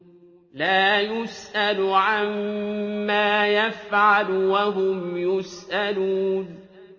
لَا يُسْأَلُ عَمَّا يَفْعَلُ وَهُمْ يُسْأَلُونَ